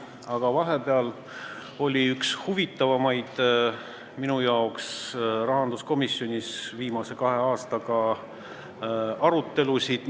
Aga vahepeal oli minu arvates üks rahanduskomisjoni viimase kahe aasta huvitavamaid arutelusid.